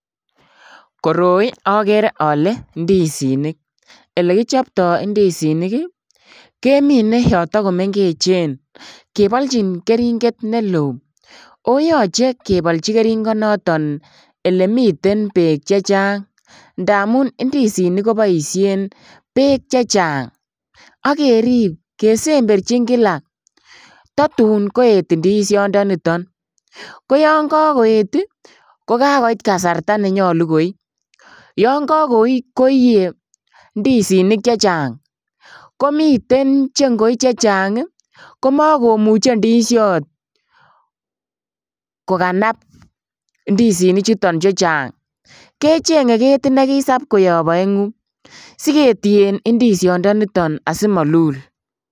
Koroi okere ole indizinik elekichpto indizinik ii kemine yon tokomengechen keboljin keringet neloo oo yoche keboljin keringonoton elemiten beek chechang ndamun indizinik koboisien beek chechang, ak kerib kesemberji kila totun koet indishondoniton, koyon kokoet ii kokait kasarta nenyolu koi yon kokoi koiyee indizinik chechang komiten cheingoi chechang komokomuche indishot kokanab indizinichuton chechang kechenge ketit nekisap koyob oengu siketien indishondoniton asimolul.